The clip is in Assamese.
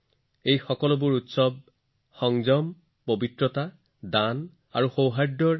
এই সকলোবোৰ উৎসৱ হৈছে সংযম বিশুদ্ধতা দান আৰু সম্প্ৰীতিৰ উৎসৱ